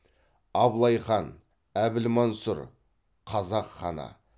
абылай хан әбілмансұр қазақ ханы